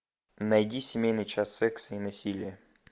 найди семейный час секса и насилия